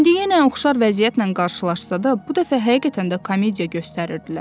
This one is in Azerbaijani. İndi yenə oxşar vəziyyətlə qarşılaşsa da, bu dəfə həqiqətən də komediya göstərirdilər.